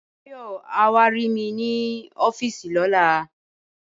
Báyò̩ yóò wá rí mi ní ó̩fíìsì ló̩la